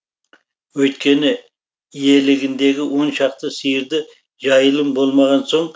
өйткені иелігіндегі он шақты сиырды жайылым болмаған соң